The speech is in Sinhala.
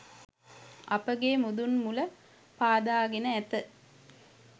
අපගේ මුදුන් මුල පාදාගෙන ඇත